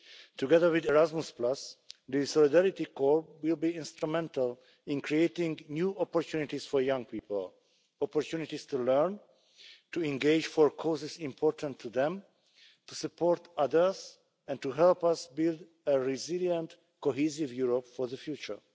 Together with Erasmus the Solidarity Corps will be instrumental in creating new opportunities for young people opportunities to learn, to engage for causes important to them, to support others and to help us build a resilient cohesive Europe for the future.